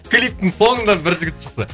клиптің соңында бір жігіт шықса